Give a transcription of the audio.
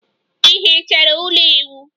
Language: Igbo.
Ị hichere ụlọ ịwụ?